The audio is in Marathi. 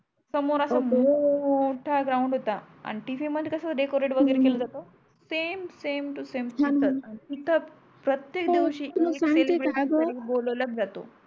सोमोर सोमर असा मोठा ग्राउंड होता आणी TV मध्ये कस डेकोरेट वगेरे केल जात हो हो समे तो समे छान तसच हा आणि तिथच प्रतेक दिवसी तर मग सांगते का ग सेलेब्रेट कराला बोलवलच जातो